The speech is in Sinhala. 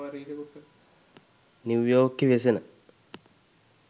නිව් යෝර්ක් හි වෙසෙන